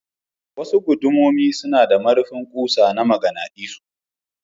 Wasu guduma suna da marifin kusa na maganadisu.